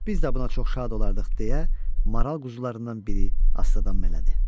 Biz də buna çox şad olardıq, deyə maral quzularından biri astadan mələdi.